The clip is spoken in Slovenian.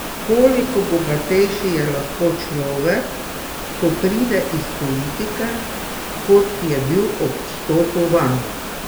Koliko bogatejši je lahko človek, ko pride iz politike, kot je bil ob vstopu vanjo?